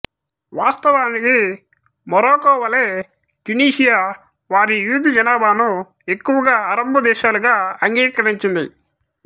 వాస్తవానికి మొరాకో వలె ట్యునీషియా వారి యూదు జనాభాను ఎక్కువగా అరబ్బు దేశాలుగా అంగీకరించింది